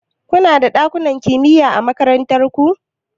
Kuna da ɗakunan kimiya a makarantar ku?